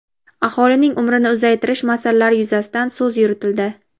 aholining umrini uzaytirish masalalari yuzasidan so‘z yuritildi.